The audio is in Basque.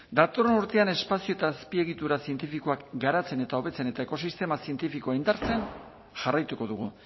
datorren urtean espazio eta azpiegitura zientifikoak garatzen eta hobetzen eta ekosistema zientifikoa indartzen jarraituko dugu